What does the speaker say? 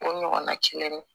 O ɲɔgɔnna kelen